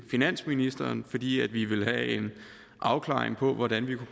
finansministeren fordi vi vil have en afklaring af hvordan vi